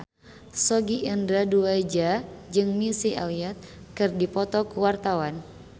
Sogi Indra Duaja jeung Missy Elliott keur dipoto ku wartawan